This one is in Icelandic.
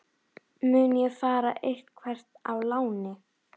Mun ég fara eitthvert á láni?